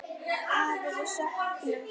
Afi, við söknum þín.